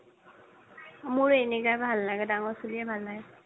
মোৰ এনেকাই ভাল লাগে ডাঙৰ চুলিয়ে ভাল লাগে